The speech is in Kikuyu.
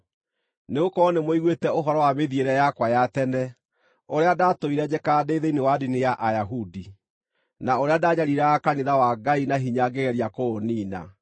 Nĩgũkorwo nĩmũiguĩte ũhoro wa mĩthiĩre yakwa ya tene, ũrĩa ndaatũire njĩkaga ndĩ thĩinĩ wa ndini ya Ayahudi, na ũrĩa ndanyariiraga kanitha wa Ngai na hinya ngĩgeria kũũniina.